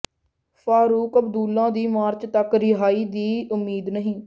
ਫਾਰੂਕ ਅਬਦੁੱਲਾ ਦੀ ਮਾਰਚ ਤਕ ਰਿਹਾਈ ਦੀ ਉਮੀਦ ਨਹੀਂ